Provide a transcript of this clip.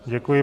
Děkuji.